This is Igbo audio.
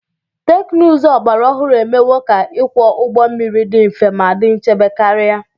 teknụzụ ọgbara ọhụrụ emewo ka ịkwọ ụgbọ mmiri dị mfe ma dị nchebe karị